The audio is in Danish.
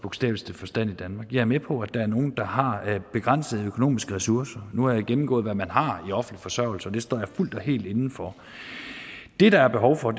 bogstaveligste forstand i danmark jeg er med på at der er nogle der har begrænsede økonomiske ressourcer nu har jeg gennemgået hvad man har i offentlig forsørgelse og det står jeg fuldt og helt inde for det der er behov for